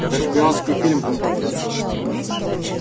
это шпионский фильм какой-то